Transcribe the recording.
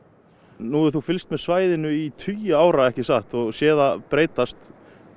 nú hefur þú fylgst með svæðinu í tugi ára ekki satt og séð það breytast